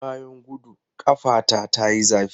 Bayan gudu, ƙafata ta yi zafi.